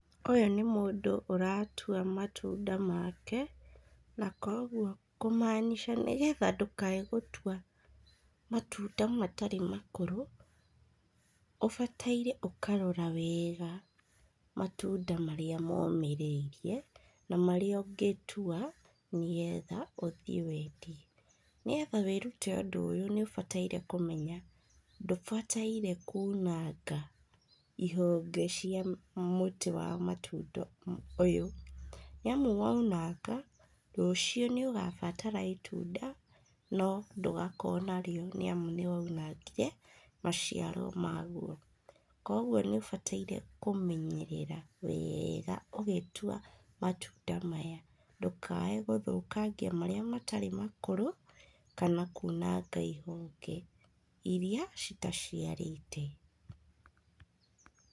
Ũyũ nĩ mũndũ ũratua matunda make, na kwoguo kũmaanisha nĩgetha ndũkage gũtua matunda matarĩ makũrũ obataire gũkarora wega matunda marĩa momĩrĩirie na marĩa ũngĩtua nĩgetha ũthii wendie, nĩgetha wĩrũte ũndũ ũyũ nĩũbataire kũmenya ndũbataire kuunanga ihonge cia mũtĩ wa matunda ũyũ niamu wona waunanga rũciũ nĩũkabatara itunda no ndugakorwo narĩo nĩamu nĩwaunangire maciaro mauo, kwoguo nĩũbataire kũmenyerera wega ũgĩtua matunda maya ndukaye gũthũkangia aríĩ matarĩ makũru kana kunanga ihũngĩ irĩa itaciarĩte.